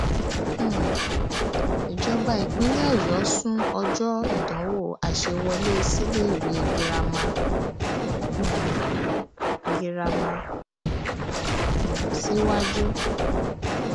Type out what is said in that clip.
um ìjọba ìpínlẹ ọyọ sún ọjọ ìdánwò àṣẹwọlé síléèwé girama um girama um síwájú